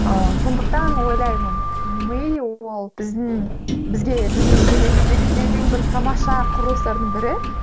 ыыы сондықтан ойлаймын ми ол біздің бізге біздің денеміздегі ең бір тамаша құрылыстардың бірі